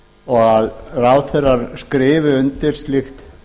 og að ráðherrar skrifi undir slíkt